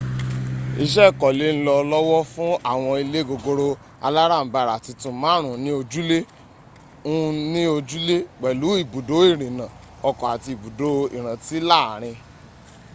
iṣẹ́ ìkọlé ń lọ lọ́wọ́ fún àwọn ilé gogoro alárànbarà titun márùn-ún ní ojúlé un ni ojule pẹ̀lú ibùdó ìrìnà ọkọ̀ àti ibùdó ìrántí láàrin